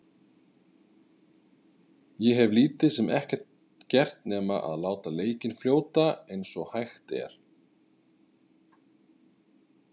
Ég hef lítið sem ekkert gert nema að láta leikinn fljóta eins og hægt er.